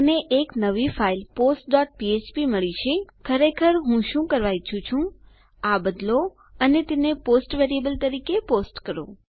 મને એક નવી ફાઈલ postફ્ફ્પ મળી છે ખરેખર હું શું કરવા ઈચ્છું છું કે આ બદલો અને તેને પોસ્ટ વેરીએબલ તરીકે પોસ્ટ કરો